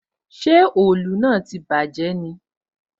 Ṣé òòlù náà tí bàjé ni?